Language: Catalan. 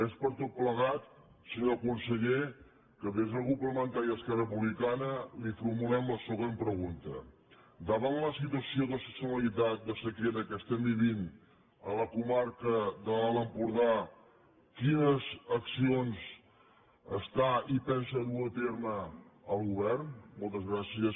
és per tot plegat senyor conseller que des del grup parlamentari d’esquerra republicana li formulem la següent pregunta davant la situació d’excepcionalitat de sequera que estem vivint a la comarca de l’alt empordà quines accions hi pensa dur a terme el govern moltes gràcies senyor president